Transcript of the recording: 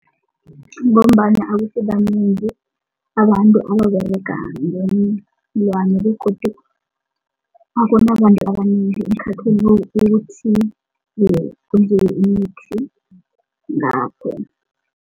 Ngombana abasibanengi abantu ababerega begodu akunabantu abanengi ukuthi